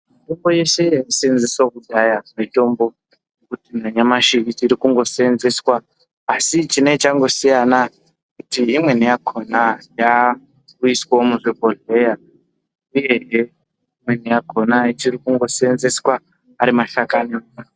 Mitombo yeshe yaishandiswa kudhaya mitombo yekuti nanyamashi ichirikungoseenzeswa, asi chinenge changosiyana ndechekuti imweni yakhona yakuiswe muzvibhodhleya uyezve imweni yakhona ichirikundoseenzeswa arimasakani.